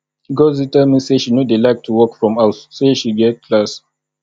ngzi tell me say she no dey like to work from house say she get class